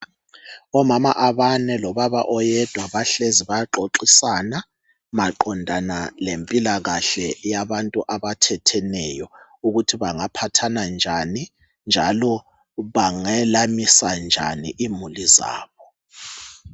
Omama abane lobaba oyedwa bahlezi bayaxoxisana Maqondana lempilakahle yabantu abathetheneyo ukuthi bengaphathana njani njalo bangelanisanjani imuli zabo